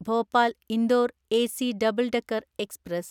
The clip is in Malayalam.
Bhopal Indore AC double decker express